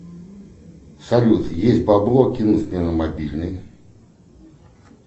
салют есть бабло кинуть мне на мобильный